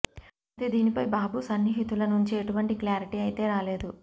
అయితే దీనిపై బాబు సన్నిహితుల నుంచి ఎటువంటి క్లారిటీ అయితే రాలేదు